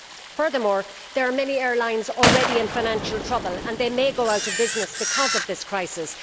Furthermore, there are many airlines already in financial trouble and they may go out of business because of this crisis.